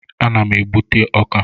Ana m egbute ọka.